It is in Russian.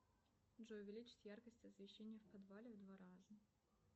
джой увеличить яркость освещения в подвале в два раза